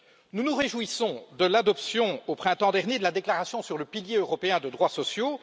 Nous nous réjouissons de l'adoption au printemps dernier de la déclaration sur le pilier européen de droits sociaux.